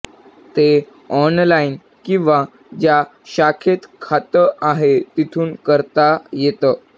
ते ऑनलाइन किंवा ज्या शाखेत खातं आहे तिथून करता येतं